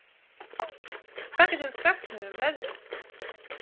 Britt, hvað geturðu sagt mér um veðrið?